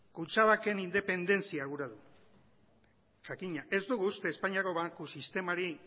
kutxabanken independentzia gura du jakina ez dugu uste espainiako banku sistemari